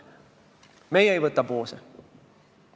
Meie ei võta poose.